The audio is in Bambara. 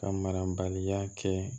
Ka marabaliya kɛ